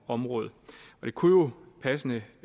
område det kunne jo passende